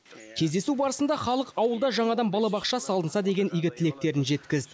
кездесу барысында халық ауылда жаңадан балабақша салынса деген игі тілектерін жеткізді